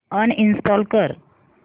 uninstall कर